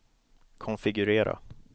konfigurera